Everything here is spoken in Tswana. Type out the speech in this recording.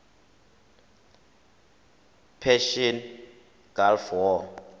persian gulf war